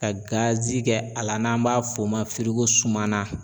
Ka gazi kɛ a la n'an b'a f'o ma firigosuman na